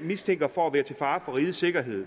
mistænker for at være til fare for rigets sikkerhed